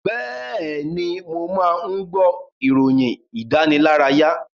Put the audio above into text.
Bẹ́ẹ̀ni, mò máa ń gbọ́ ìròyìn ìdánilárayá.